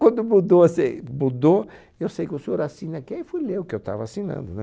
Quando mudou assim, mudou, eu sei que o senhor assina aqui, aí fui ler o que eu estava assinando, né?